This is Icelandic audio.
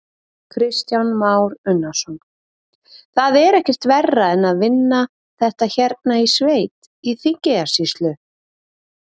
Kristján Már Unnarsson: Það er ekkert verra að vinna þetta hérna í sveit, í Þingeyjarsýslu?